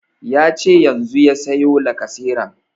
Yace yanzu ya siyo lacaseran